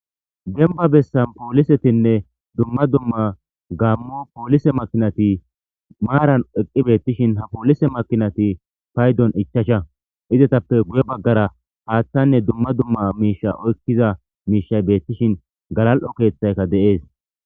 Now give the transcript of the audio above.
demba bessan poolisetinne dumma dumma gaammo poolise makinati maaran eqqi beettishin ha poolise makinati paydon ichasha izetappe guye baggara haaththanne dumma dumma miisha oykkiza miishay beettishin galal7o keeththayka de'ees